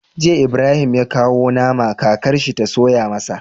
Jiya Ibrahim ya kawo nama kakar shi ta soya masa